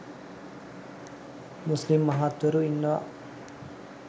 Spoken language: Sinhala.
මුස්ලිම් මහත්වරු ඉන්නවා.